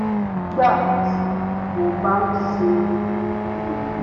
nígbà tí mo bá ń ṣe iyèméjì